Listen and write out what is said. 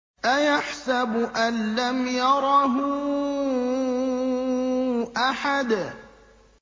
أَيَحْسَبُ أَن لَّمْ يَرَهُ أَحَدٌ